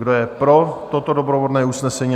Kdo je pro toto doprovodné usnesení?